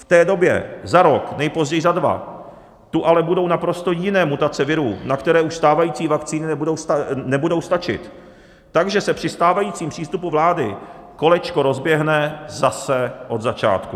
V té době, za rok, nejpozději za dva, tu ale budou naprosto jiné mutace virů, na které už stávající vakcíny nebudou stačit, takže se při stávajícím přístupu vlády kolečko rozběhne zase od začátku.